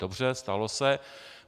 Dobře, stalo se.